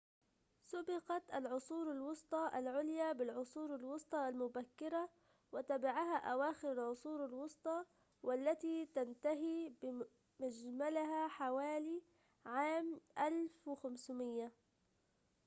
سُبقت العصور الوسطى العليا بالعصور الوسطى المبكرة وتبعها أواخر العصور الوسطى، والتي تنتهي بمجملها حوالي عام ١٥٠٠